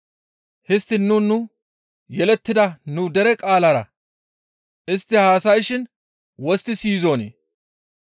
Histtiin nuni nu yelettida nu dere qaalara istti haasayshin wostti siyizonii?